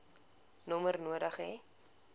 nommer nodig hê